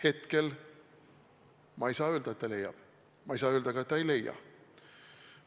Hetkel ma ei saa öelda, et leiab, aga ma ei saa öelda ka, et ei leia.